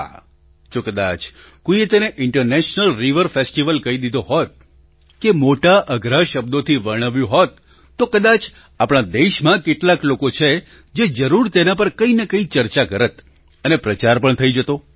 હા જો કદાચ કોઈએ તેને ઇન્ટરનેશનલ રિવર ફેસ્ટિવલ કહી દીધો હોત કે મોટાઅઘરા શબ્દોથી વર્ણવ્યું હોત તો કદાચ આપણા દેશમાં કેટલાક લોકો છે જે જરૂર તેના પર કંઈ ને કંઈ ચર્ચા કરત અને પ્રચાર પણ થઈ જતો